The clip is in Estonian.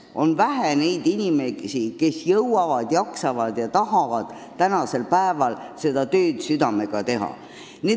On vähe neid inimesi, kes jõuavad, jaksavad ja tahavad tänasel päeval seda tööd südamega teha.